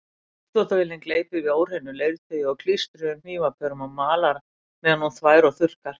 Uppþvottavélin gleypir við óhreinu leirtaui og klístruðum hnífapörum og malar meðan hún þvær og þurrkar.